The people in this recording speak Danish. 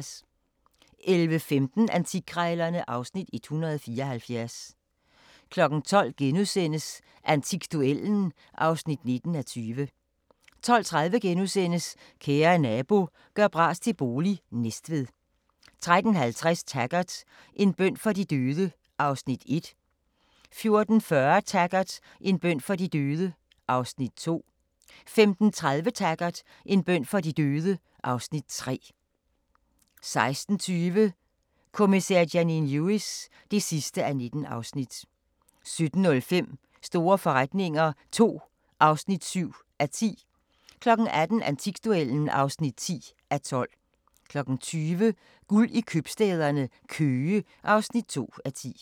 11:15: Antikkrejlerne (Afs. 174) 12:00: Antikduellen (19:20)* 12:30: Kære nabo – gør bras til bolig – Næstved * 13:50: Taggart: En bøn for de døde (Afs. 1) 14:40: Taggart: En bøn for de døde (Afs. 2) 15:30: Taggart: En bøn for de døde (Afs. 3) 16:20: Kommissær Janine Lewis (19:19) 17:05: Store forretninger II (7:10) 18:00: Antikduellen (10:12) 20:00: Guld i købstæderne - Køge (2:10)